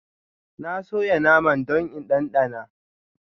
Na soya naman don in ɗanɗana.